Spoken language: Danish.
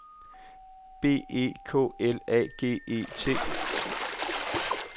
B E K L A G E T